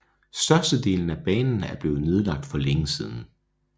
Størstedelen af banen er blevet nedlagt for længe siden